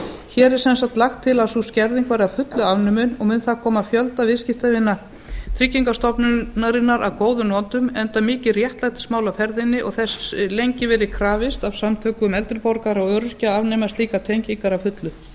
hér er sem sagt lagt til að sú skerðing verði að fullu afnumin og mun það koma fjölda viðskiptavina tryggingastofnunarinnar að góðum notum enda mikið réttlætismál á ferðinni og þess lengi verið krafist af samtökum eldri borgara og öryrkja að afnema slíkar tengingar að fullu